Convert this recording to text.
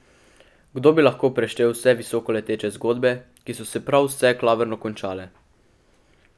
Kdo bi lahko preštel vse visokoleteče zgodbe, ki so se prav vse klavrno končale?